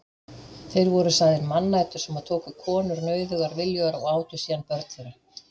Þeir voru sagðir mannætur sem tóku konur nauðugar viljugar og átu síðan börn þeirra.